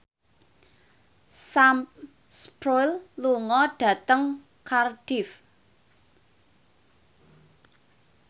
Sam Spruell lunga dhateng Cardiff